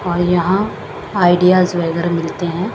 और यहा आईडियास वेगर मिलते है।